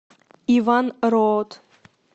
иван роот